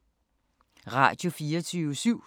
Radio24syv